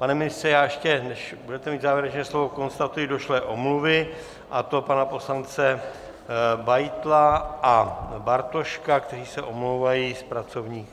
Pane ministře, já ještě, než budete mít závěrečné slovo, konstatuji došlé omluvy, a to pana poslance Beitla a Bartoška, kteří se omlouvají z pracovních